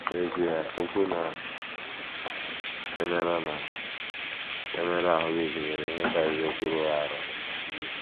N’ezie, okwu na - emerụ na - emerụ ahụ́ gụnyere ihe karịrị okwu rụrụ arụ.